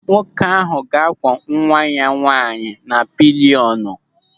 Nwoke ahụ ga-akwọ nwa ya nwaanyị na pịlịọnụ.